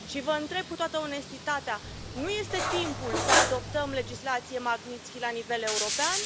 Și vă întreb cu toată onestitatea nu este timpul să adoptăm legislație Magnitsky la nivel european?